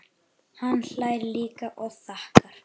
Hann hlær líka og þakkar.